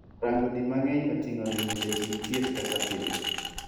Rango di mang'eny oting'o limo jachiw thieth kaka pile.